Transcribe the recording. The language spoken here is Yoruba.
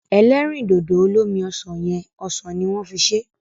Ẹlẹ́rìndòdò olómi ọsàn yẹn, ọsàn ni wọ́n fi ṣé.